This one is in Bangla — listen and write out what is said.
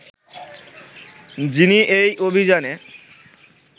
যিনি এই অভিযানে